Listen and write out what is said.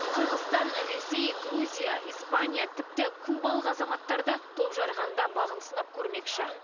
қырғызстан ресей грузия испания тіпті кубалық азаматтар да топжарған да бағын сынап көрмекші